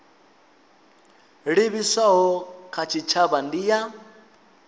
livhiswaho kha tshitshavha ndi ya